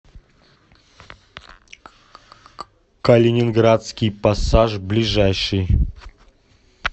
калининградский пассаж ближайший